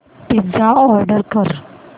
pizza order कर